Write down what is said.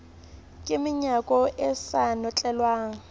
ka menyako e sa notlelwang